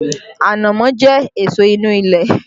Ànámọ́ jẹ èso inú ilẹ̀